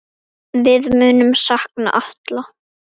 Við munum sakna Atla.